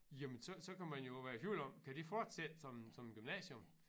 Jamen så så kan man jo være i tvivl om kan det fortsætte som som gymnasium